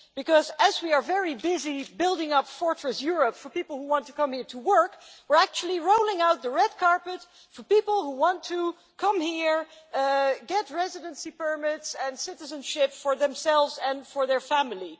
Because while we are very busy building Fortress Europe' for people who want to come here to work, we're actually rolling out the red carpet for certain other people who want to come here, get residency permits and citizenship for themselves and for their family.